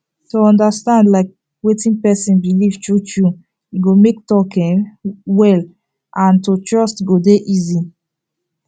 to understand like wetin person believe true true e go make talk flow um well and to trust go dey easy